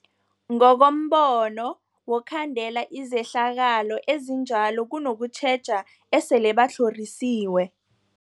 Ngokombono wokhandela izehlakalo ezinjalo kunokutjheja esele batlhorisiwe.